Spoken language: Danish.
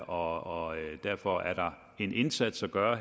og derfor er der en indsats at gøre